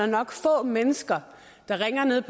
nok få mennesker der ringer ned